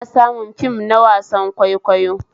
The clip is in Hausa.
Ana samun fim na wasan kwaikwayo